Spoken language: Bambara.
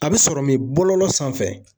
A bɛ sɔrɔ min bolo sanfɛ